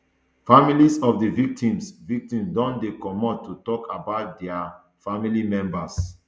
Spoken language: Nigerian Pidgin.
families of di victims victims don dey comot to tok about dia family members